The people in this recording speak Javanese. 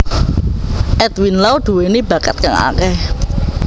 Edwin Lau duweni bakat kang akeh